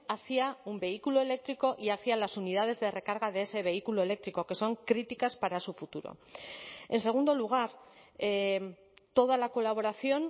hacia un vehículo eléctrico y hacía las unidades de recarga de ese vehículo eléctrico que son críticas para su futuro en segundo lugar toda la colaboración